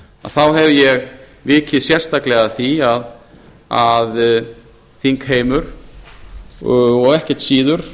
þá hef ég vikið sérstaklega að því að þingheimi og ekkert síður